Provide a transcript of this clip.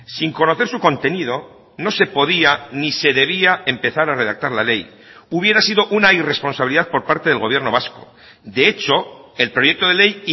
sin conocer su contenido no se podía ni se debía empezar a redactar la ley hubiera sido una irresponsabilidad por parte del gobierno vasco de hecho el proyecto de ley